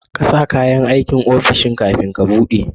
kasa kayan aikin ofishin kafin ka buɗe